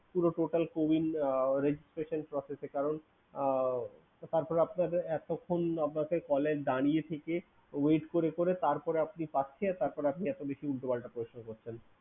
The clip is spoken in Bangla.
পুরো total cowin registration process এ। কারন আহ তারপর আপনাদের এতোক্ষন আপনাকে call এ দাঁড়িয়ে থেকে wait করে করে তারপর আপনি পাচ্ছে তারপরও আপনি এতো বেশি উল্টোপাল্টা question করছেন।